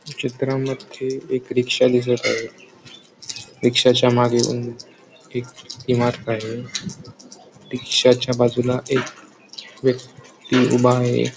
चित्रामध्ये एक रिक्षा दिसत आहे रिक्षाच्या मागे एक इमारत आहे रिक्षाच्या बाजूला एक व्यक्ति उभा आहे.